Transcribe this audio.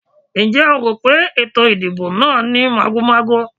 Ǹjẹ́ o rò pé ètò ìdìbò náà ní màgòmágó?